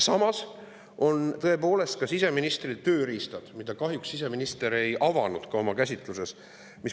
Samas on tõepoolest siseministril olemas tööriistad, mida kahjuks siseminister ei avanud oma käsitluses.